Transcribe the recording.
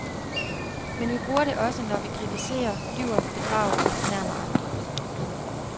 Men vi bruger det også, når vi kritiserer, lyver, bedrager og fornærmer andre.